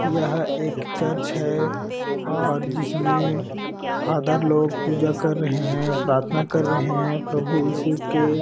यह एक चर्च है और जिसमे फादर लोग पूजा कर रहे है प्रार्थना कर रहे है प्रभु इशू की--